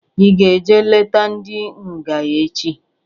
I ga-eje leta ndị nga echi?